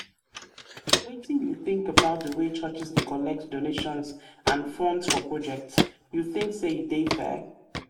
wetin you think about di way churches dey collect donations and funds for projects you think say e dey fair?